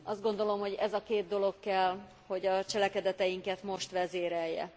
Azt gondolom, hogy ez a két dolog kell, hogy a cselekedeteinket most vezérelje.